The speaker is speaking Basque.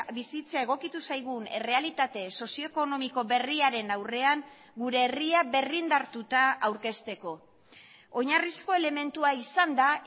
bizitza egokitu zaigun errealitate sozio ekonomiko berriaren aurrean gure herria berrindartuta aurkezteko oinarrizko elementua izanda